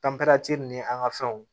ni an ka fɛnw